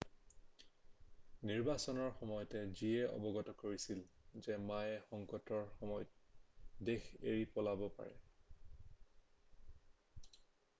নিৰ্বাচনৰ সময়ত চিয়ে অৱগত কৰিছিল যে মায়ে সংকটৰ সময়ত দেশ এৰি পলাব পাৰে